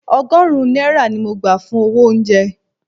Ọgọ́rùn-ún náírà ni mo gbà fún owó oúnjẹ